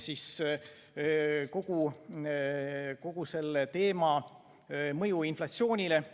See on kogu selle teema mõju inflatsioonile.